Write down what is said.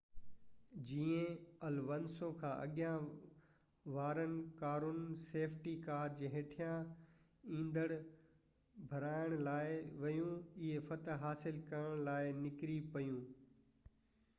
جيئن الونسو کان اڳيان وارون ڪارون سيفٽي ڪار جي هيٺان ايندڻ ڀرائڻ لاءِ ويون هي فتح حاصل ڪرڻ لاءِ نڪري پيو